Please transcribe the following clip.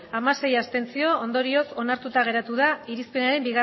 hamasei abstentzio ondorioz onartuta geratu da irizpenaren